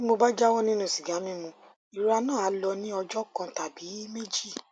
bí mo bá jáwọ nínú sìgá mímu ìrora náà á lọ ní ọjọ kan tàbí méjì